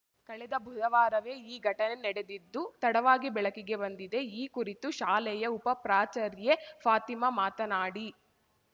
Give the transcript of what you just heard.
ಕಳೆದ ಬುಧವಾರವೇ ಈ ಘಟನೆ ನಡೆದಿದ್ದು ತಡವಾಗಿ ಬೆಳಕಿಗೆ ಬಂದಿದೆ ಈ ಕುರಿತು ಶಾಲೆಯ ಉಪ ಪ್ರಾಚಾರ್ಯೆ ಫಾತಿಮಾ ಮಾತನಾಡಿ